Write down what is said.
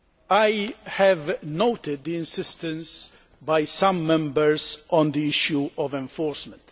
I have noted the insistence by some Members on the issue of enforcement.